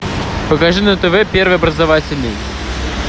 покажи на тв первый образовательный